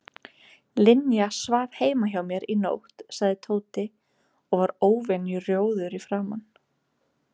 Linja svaf heima hjá mér í nótt sagði Tóti og var óvenju rjóður í framan.